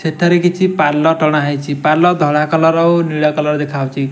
ସେଥେରେ କିଛି ପାଲ ଟାଣ ହୋଇଛି ପଲ୍ ଧଳା କଲର ନିଲ କଲର୍ ଦେଖା ଯାଉଅଛି।